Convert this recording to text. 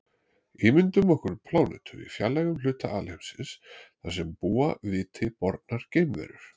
Ímyndum okkur plánetu í fjarlægum hluta alheimsins þar sem búa viti bornar geimverur.